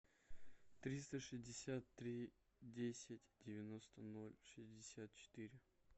триста шестьдесят три десять девяносто ноль шестьдесят четыре